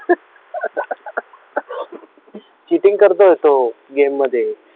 cheating करतोय तो game मध्ये